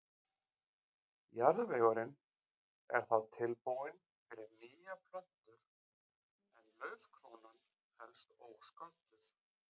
Jarðvegurinn er þá tilbúinn fyrir nýjar plöntur en laufkrónan helst ósködduð.